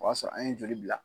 O y'a sɔrɔ an ye joli bila.